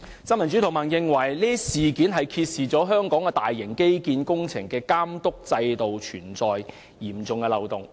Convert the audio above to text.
新民主同盟認為，事件揭示香港大型基建工程的監督制度存在嚴重漏洞。